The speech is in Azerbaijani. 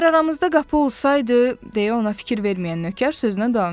"Əgər aramızda qapı olsaydı" deyə ona fikir verməyən Nökər sözünə davam etdi.